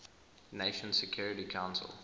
nations security council